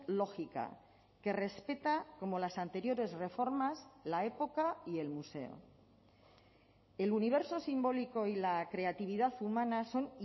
lógica que respeta como las anteriores reformas la época y el museo el universo simbólico y la creatividad humanas son